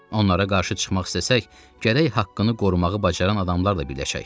Onlara qarşı çıxmaq istəsək, gərək haqqını qorumağı bacaran adamlar da birləşək.